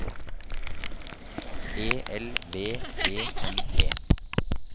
E L V E N E